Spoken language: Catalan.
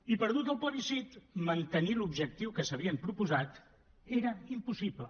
i perdut el plebiscit mantenir l’objectiu que s’havien proposat era impossible